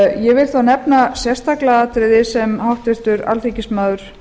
ég vil þá nefna sérstaklega atriði sem háttvirtur alþingismaður